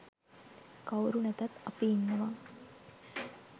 කවුරු නැතත් අපි ඉන්නවා.